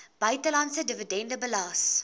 buitelandse dividende belas